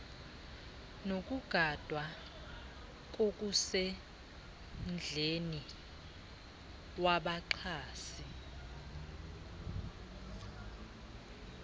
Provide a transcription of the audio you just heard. nokugadwa kokusemdleni wabaxhasi